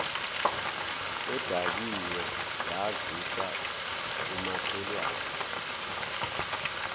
edakiwe yazisa umakhelwane